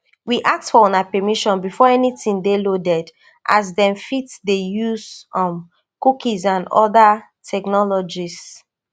we ask for una permission before anytin dey loaded as dem fit dey use um cookies and oda technologies